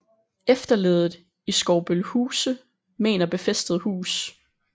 Efterleddet i Skovbølhuse mener befæstet hus